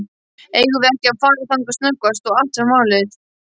Eigum við ekki að fara þangað snöggvast og athuga málið?